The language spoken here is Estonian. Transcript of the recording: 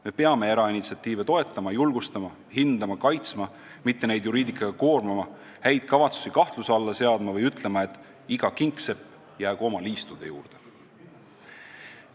Me peame erainitsiatiive toetama, julgustama, hindama, kaitsma, mitte neid juriidikaga koormama, häid kavatsusi kahtluse alla seadma või ütlema, et iga kingsepp jäägu oma liistude juurde.